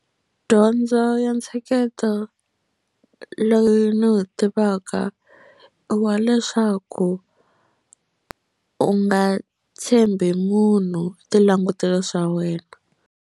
Dyondzo ya ntsheketo loyi ni wu tivaka wa leswaku u nga tshembi munhu ti languteli swa wena.